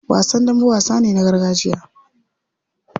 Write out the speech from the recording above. Wasan dambe wasa ne na gargajiya.